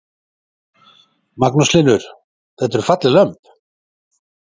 Magnús Hlynur: Þetta eru falleg lömb?